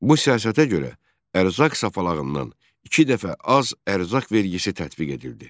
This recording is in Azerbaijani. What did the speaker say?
Bu siyasətə görə ərzaq sapalağından iki dəfə az ərzaq vergisi tətbiq edildi.